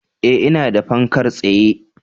Eh, ina da fankar tsaye